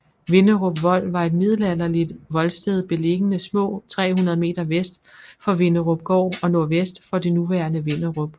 Vinderup Vold var et middelalderligt voldsted beliggende små 300 m vest for Vinderupgård og nordvest for det nuværende Vinderup